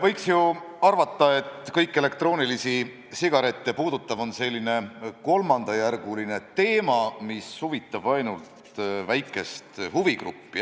Võiks ju arvata, et kõik elektroonilisi sigarette puudutav on selline kolmandajärguline teema, mis huvitab ainult väikest huvigruppi.